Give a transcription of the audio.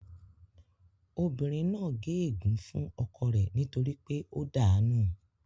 Obìnrin náà gé ègún fún ọkọ rẹ nítorí pé ó dàá nù